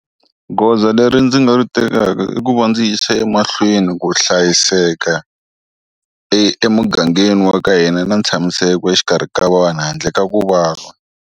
Goza leri ndzi nga ri tekaka i ku va ndzi yisa emahlweni ku hlayiseka emugangeni wa ka hina na ntshamiseko exikarhi ka vanhu handle ka ku vava.